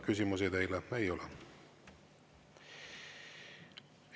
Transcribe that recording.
Küsimusi teile ei ole.